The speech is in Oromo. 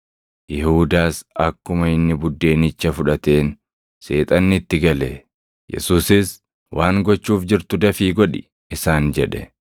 Yihuudaas akkuma inni buddeenicha fudhateen Seexanni itti gale. Yesuusis, “Waan gochuuf jirtu dafii godhi” isaan jedhe.